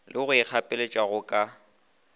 le go ikgapeletša go ka